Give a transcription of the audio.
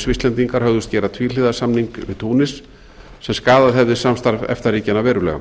svisslendingar hugðust gera tvíhliða samning við túnis sem skaðað hefði samstarf efta ríkjanna